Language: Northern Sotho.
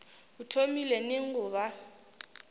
o thomile neng go ba